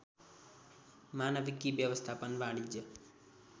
मानवीकि व्यवस्थापन वाणिज्य